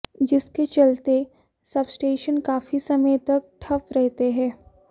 जिसके चलते सबस्टेशन काफी समय तक ठप रहते हैं